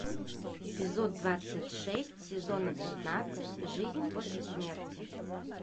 эпизод двадцать шесть сезона пятнадцать жизнь после смерти